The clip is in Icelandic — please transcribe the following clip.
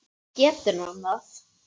Getur hann það?